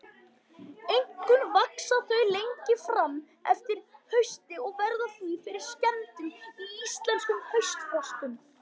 Einkum vaxa þau lengi fram eftir hausti og verða því fyrir skemmdum í íslenskum haustfrostum.